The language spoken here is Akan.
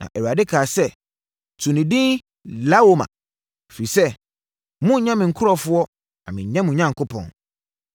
Na Awurade kaa sɛ, “To ne din Lo-ami, ɛfiri sɛ monnyɛ me nkurɔfoɔ na mennyɛ mo Onyankopɔn.